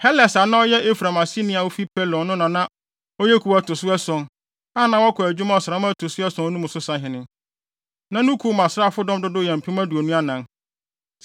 Heles a na ɔyɛ Efraim aseni a ofi Pelon no na na ɔyɛ kuw a ɛto so ason, a na wɔkɔ adwuma ɔsram a ɛto so ason mu no so sahene. Na ne kuw no asraafodɔm dodow yɛ mpem aduonu anan (24,000).